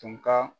Tun ka